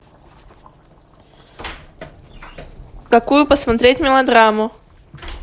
какую посмотреть мелодраму